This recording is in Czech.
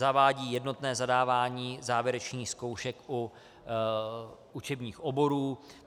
Zavádí jednotné zadávání závěrečných zkoušek u učebních oborů.